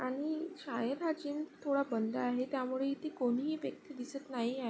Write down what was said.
आणि शाळे प्राचीन थोडा बंद आहे त्यामुळे इथे कोणीही व्यक्ति दिसत नाही आहे.